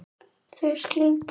Þau skildu.